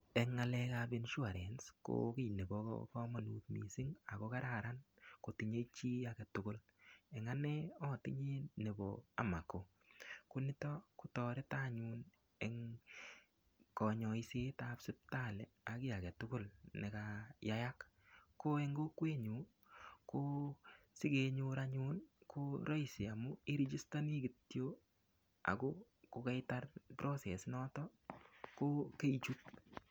Eng ngalekab insurance ko kii neboomonut mising ak ko kararan kotinye chii aketukul, en anee otinye nebo Amako, koniton kotoreto anyun en konyoisetab sibitali ak kii aketukul nekayayak, ko en kokowenyun ko sikenyor anyun ko roisi amun irigistoni kitiok ak ko keitar process inoton ko keichut.